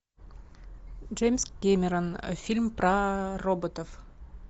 джеймс кемерон фильм про роботов